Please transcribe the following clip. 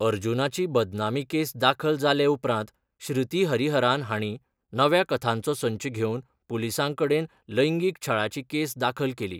अर्जुनाची बदनामी केस दाखल जाले उपरांत श्रुती हरिहरान हांणी नव्या कथांचो संच घेवन पुलिसां कडेन लैंगीक छळाची केस दाखल केली.